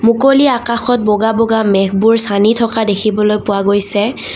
মুকলি আকাশত বগা বগা মেঘবোৰ ছানি থকা দেখিবলৈ পোৱা গৈছে।